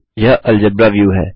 यह algebra view है